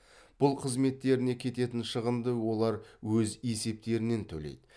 бұл қызметтеріне кететін шығынды олар өз есептерінен төлейді